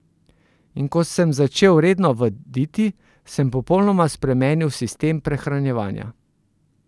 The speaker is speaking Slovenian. In ko sem začel redno vaditi, sem popolnoma spremenil sistem prehranjevanja.